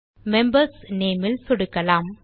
membersநேம் இல் சொடுக்கலாம்